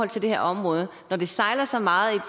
til det her område når det sejler så meget